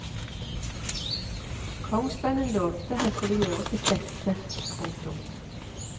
Kongssønnen lovte han skulle gjøre sitt beste. punktum